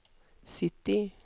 sytti